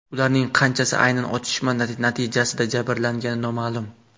Ularning qanchasi aynan otishma natijasida jabrlangani noma’lum.